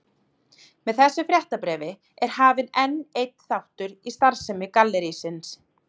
Með þessu fréttabréfi er hafinn enn einn þáttur í starfsemi gallerísins.